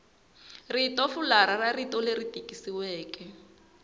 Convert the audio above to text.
ritofularha ra rito leri tikisiweke